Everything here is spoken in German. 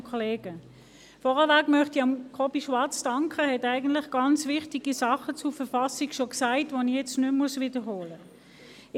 Er hat bereits ganz wichtige Dinge zur Verfassung gesagt, die ich nicht mehr wiederholen muss.